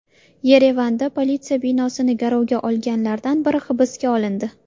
Yerevanda politsiya binosini garovga olganlardan biri hibsga olindi.